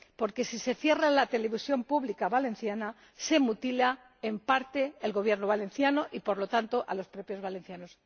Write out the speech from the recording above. Porque, si se cierra la televisión pública valenciana, se mutila, en parte, el Gobierno valenciano y, por lo tanto, a los propios valencianos.